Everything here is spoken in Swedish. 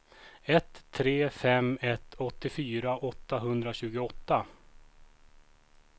ett tre fem ett åttiofyra åttahundratjugoåtta